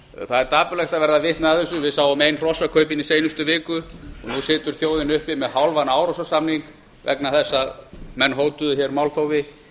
það er dapurlegt að verða vitni að þessu við sáum ein hrossakaupin í seinustu viku og nú situr þjóðin uppi með hálfan árósasamning vegna þess að menn hótuðu hér málþófi